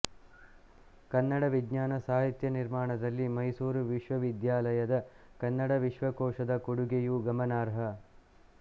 ಕನ್ನಡ ವಿಜ್ಞಾನ ಸಾಹಿತ್ಯ ನಿರ್ಮಾಣದಲ್ಲಿ ಮೈಸೂರು ವಿಶ್ವವಿದ್ಯಾನಿಲಯದ ಕನ್ನಡ ವಿಶ್ವಕೋಶದ ಕೊಡುಗೆಯೂ ಗಮನಾರ್ಹ